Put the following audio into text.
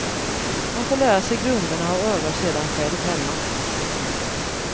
Man får lära sig grunderna och övar sedan själv hemma.